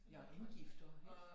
Ja og indgift og ik